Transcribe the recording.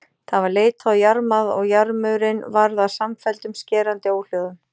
Það var leitað og jarmað og jarmur- inn varð að samfelldum skerandi óhljóðum.